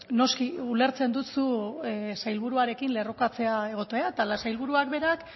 noski ulertzen dut zu sailburuarekin lerrokatzea egotea eta sailburuak berak